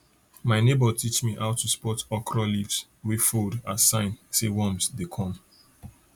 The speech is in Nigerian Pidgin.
my neighbour teach me how to spot okra leaves wey fold as sign say worms dey come